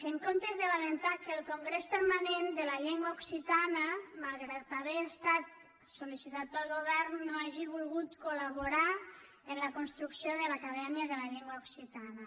en comptes de lamentar que el congrés permanent de la llengua occitana malgrat haver estat sol·licitat pel govern no hagi volgut col·laborar en la construcció de l’acadèmia de la llengua occitana